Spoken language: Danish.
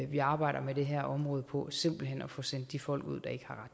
vi arbejder med det her område på simpelt hen ved at få sendt de folk ud der ikke har